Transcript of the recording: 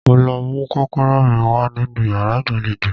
Mo lọ mú kọ́kọ́rọ́ mi wá nínú yàrá ìgbàlejò